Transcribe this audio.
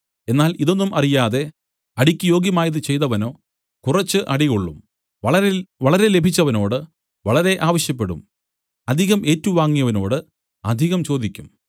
എന്നാൽ ഇതൊന്നും അറിയാതെ അടിക്ക് യോഗ്യമായതു ചെയ്തവനോ കുറച്ച് അടികൊള്ളും വളരെ ലഭിച്ചവനോട് വളരെ ആവശ്യപ്പെടും അധികം ഏറ്റുവാങ്ങിയവനോട് അധികം ചോദിക്കും